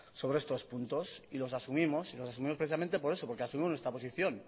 sobre estos puntos y los asumimos y los asumimos precisamente por eso porque asumimos nuestra posición